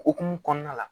Okumu kɔnɔna la